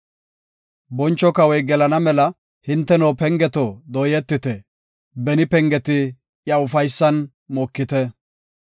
Boncho kawoy gelana mela, hinteno pengeto dooyetite; beni pengeti iya ufaysan mokite.